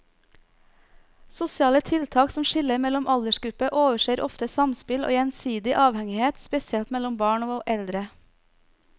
Sosiale tiltak som skiller mellom aldersgrupper overser ofte samspill og gjensidig avhengighet, spesielt mellom barn og eldre.